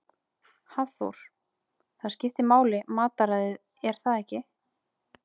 Hafþór: Það skiptir máli matarræðið er það ekki?